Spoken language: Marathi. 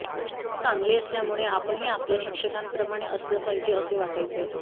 शिक्षक चांगले असल्यामुळेच आपणही आपल्या शिक्षकांप्रमाणे असलं पाहिजे असे वाटायचे